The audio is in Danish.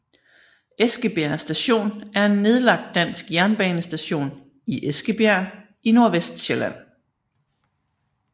Eskebjerg Station er en nedlagt dansk jernbanestation i Eskebjerg i Nordvestsjælland